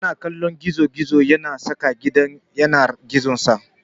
Yana kallon gizo-gizo yana saƙa gidan yanar gizonsa.